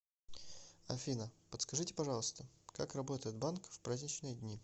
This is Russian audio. афина подскажите пожалуйста как работает банк в праздничные дни